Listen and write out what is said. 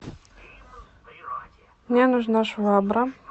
мне нужна швабра